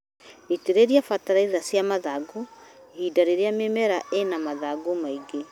Itĩrĩria bataraitha cia mathangũ ihinda rĩrĩa mĩmera ĩna mathangũ maingĩ.